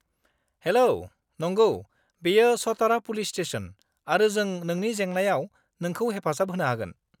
हेल', नंगौ, बेयो Satara police station आरो जों नोंनि जेंनायाव नोंखौ हेफाजाब होनो हागोन।